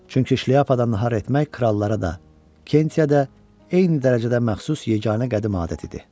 Çünki şlyapadan nahar etmək krallara da, Kentiyə də eyni dərəcədə məxsus yeganə qədim adət idi.